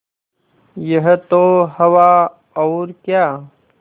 यह तो हवा और क्या